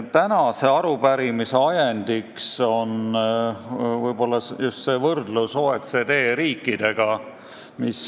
Tänase arupärimise ajendiks on ehk eelkõige avalikuks saanud võrdlus OECD riikidega.